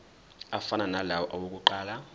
afana nalawo awokuqala